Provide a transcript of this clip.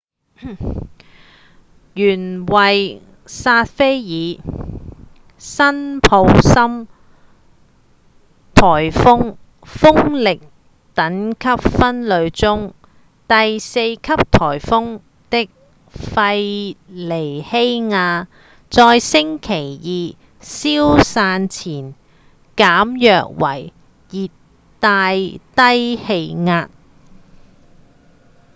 原為薩菲爾-辛普森颶風風力等級分類中第四級颶風的費莉希亞在星期二消散前減弱為熱帶低氣壓